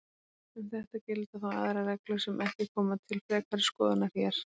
Um þetta gilda þó aðrar reglur sem ekki koma til frekari skoðunar hér.